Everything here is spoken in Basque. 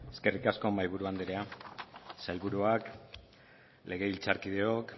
eskerrik asko mahaiburu andrea sailburuak legebiltzarkideok